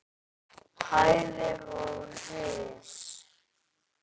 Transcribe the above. hæðir og ris.